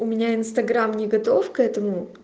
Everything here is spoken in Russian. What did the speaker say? у меня инстаграм не готов к этому